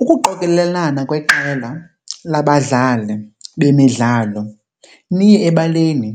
Ukuqokelelana kweqela labadlali bemidlalo niye ebaleni